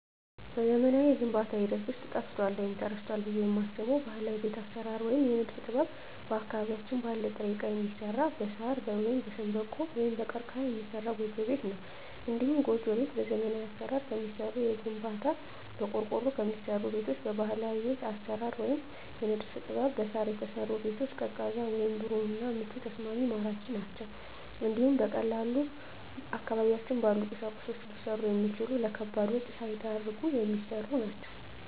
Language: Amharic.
በዘመናዊው የግንባታ ሂደት ውስጥ ጠፍቷል ወይም ተረስቷል ብየ የማስበው ባህላዊ የቤት አሰራር ወይም የንድፍ ጥበብ አካባቢያችን ባለ ጥሬ እቃ የሚሰራ በሳር ወይም በሸንበቆ(ቀርቀሀ) የሚሰራ ጎጆ ቤት ነው። እንዲሁም ጎጆ ቤት በዘመናዊ አሰራር ከሚሰሩ ከግንባታ፣ በቆርቆሮ ከሚሰሩ ቤቶች በባህላዊ ቤት አሰራር ወይም የንድፍ ጥበብ በሳር የተሰሩ ቤቶች ቀዝቃዛ ወይም ብሩህ እና ምቹና ተስማሚ ማራኪ ናቸው እንዲሁም በቀላሉ አካባቢያችን ባሉ ቁሶች ሊሰሩ የሚችሉ ለከባድ ወጭ ሳይዳርጉ የሚሰሩ ናቸው።